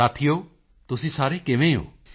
ਸਾਥੀਓ ਤੁਸੀਂ ਸਾਰੇ ਕਿਵੇਂ ਹੋ